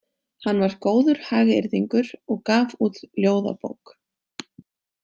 Hann var góður hagyrðingur og gaf út ljóðabók.